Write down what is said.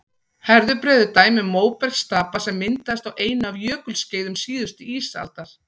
herðubreið er dæmi um móbergsstapa sem myndaðist á einu af jökulskeiðum síðustu ísaldar